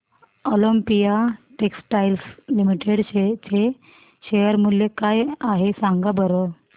Olympia Textiles Limited चे share मूल्य काय आहे सांगा बरं